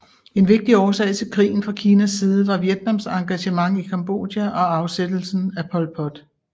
En vigtig årsag til krigen fra Kinas side var Vietnams engagement i Cambodja og afsættelsen af Pol Pot